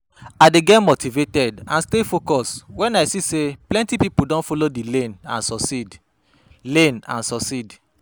I dey get motivated and stay focused when i see say plenty people don follow di lane and succeed. lane and succeed.